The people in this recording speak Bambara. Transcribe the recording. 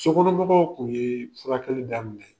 Sokɔnɔmɔgɔw tun ye furakɛli da minɛ.